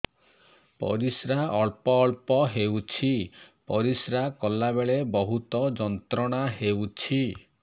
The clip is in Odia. ପରିଶ୍ରା ଅଳ୍ପ ଅଳ୍ପ ହେଉଛି ପରିଶ୍ରା କଲା ବେଳେ ବହୁତ ଯନ୍ତ୍ରଣା ହେଉଛି